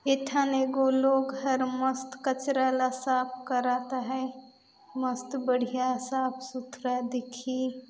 Ethan एगो लोग घर मस्त कचरा ला साफ करत है मस्त बढ़िया साफ सुथरा दिखी --